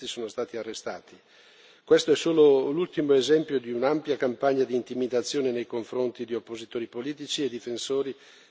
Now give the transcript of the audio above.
Questo è solo l'ultimo esempio di un'ampia campagna di intimidazione nei confronti di oppositori politici e difensori delle libertà fondamentali.